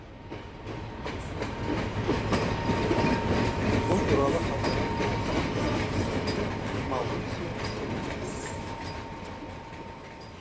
бұл туралы халықаралық бокс кеңесінің президенті маурисио сүлейман айтты